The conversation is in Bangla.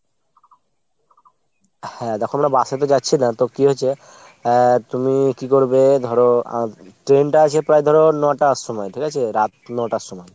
হ্যাঁ দ্যাখো আমরা bus এ তো যাচ্ছিনা তো কি হয়েছে , আহ তুমি কী করবে ধরো train টা আছে ধরো ন'টার সময় ঠিক আছে ? রাত ন'টার সময়।